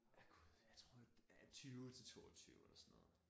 Ja Gud jeg tror 20 til 22 eller sådan noget